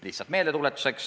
Lihtsalt meeldetuletuseks.